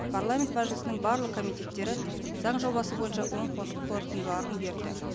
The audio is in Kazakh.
парламент мәжілісінің барлық комитеттері заң жобасы бойынша оң қорытындыларын берді